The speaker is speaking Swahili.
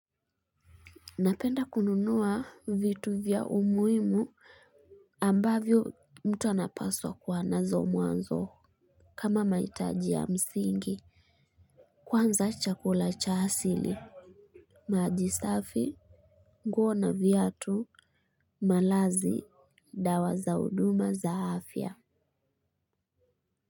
Napenda kununua vitu vya umuhimu ambavyo mtu anapaswa kuwa nazo mwanzo. Kama mahitaji ya msingi. Kwanza chakula cha asili maji safi, nguo na viatu, malazi, dawa za huduma za afya.